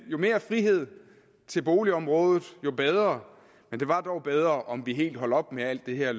jo mere frihed til boligområdet jo bedre men det var dog bedre om vi helt holdt op med alt det her